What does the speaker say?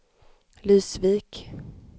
Lysvik